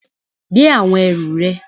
Gbé àwọn ẹrù rẹ